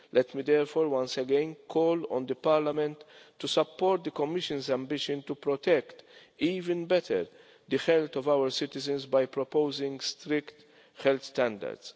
Let me therefore once again call on the Parliament to support the Commission's ambition to protect even better the health of our citizens by proposing strict health standards.